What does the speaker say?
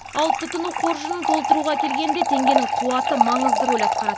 ал тұтыну қоржынын толтыруға келгенде теңгенің қуаты маңызды рөл атқарады